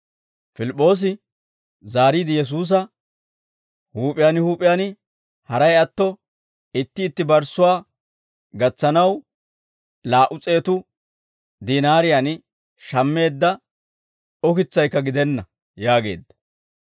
Pilip'p'oosi zaariide Yesuusa, «Huup'iyaan huup'iyaan, haray atto itti itti barssuwaa gatsanaw, laa"u s'eetu dinaariyaan shammeedda ukitsaykka gidenna» yaageedda.